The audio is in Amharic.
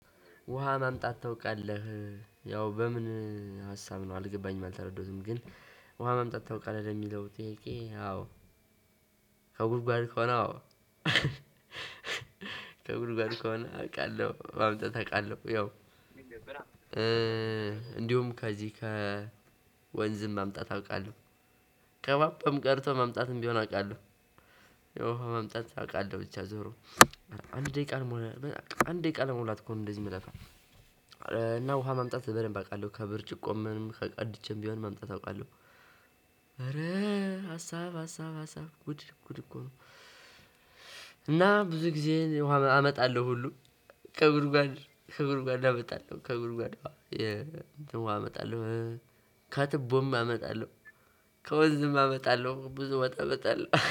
ውሃ ማምጣት ታውቃለህ? ያው በምን ሀሳብ ነው አልገባኝም አልተረዳሁትም። ግን ውሃ ማምጣት ታውቃለህ ለሚለው ጥያቄ አዎ። ከጉድጓድ ከሆነ አዎ ከጉድጓዱ ከሆነ አውቃለሁ ማምጣት አውቃለሁ ያው። እንዲሁም ከዚህ ከወንዝም ማምጣት አውቃለሁ። ከቧንቧም ቀድቶ ማምጣትም ቢሆን አውቃለሁ። የውሃ ማምጣት አውቃለሁ ብቻ ዞሮ አንድ ደቂቃ ልሞላ ነው አንድ ደቂቃ ለመሙላት እኮ እንደዚህ የምለፋ። እና ውሃ ማምጣት በደንብ አውቃለሁ ከብርጭቆም ምንም ከቀድቼም ቢሆን ማምጣት አውቃለሁ። ኧረ ሀሳብ ሀሳብ ሀሳብ ጉድ ጉድ እኮ ነው። እና ብዙ ጊዜዬን ውሃ አመጣለሁ ሁሉ ከጉድጓድ ከጉድጓድ አመጣለሁ ከጉድጓድ ውሃ የ እንትን ውሃ አመጣለሁ። ከትቦም አመጣለሁ። ከወንዝም አመጣለሁ ብዙ ውሃ አመጣለሁ